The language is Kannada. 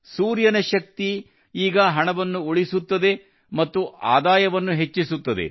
ಸೂರ್ಯನ ಶಕ್ತಿಯು ಈಗ ಹಣವನ್ನು ಉಳಿಸುತ್ತದೆ ಮತ್ತು ಆದಾಯವನ್ನು ಹೆಚ್ಚಿಸುತ್ತದೆ